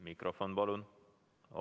Mikrofon, palun!